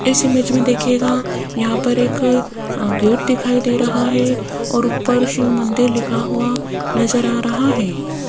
इस इमेज में देखियेगा यहाँ पर एक गेट दिखाई दे रहा है और ऊपर शिव मंदिर लिखा हुआ नजर आ रहा है।